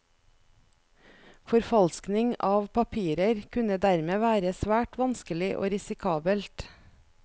Forfalskning av papirer kunne dermed være svært vanskelig og risikabelt.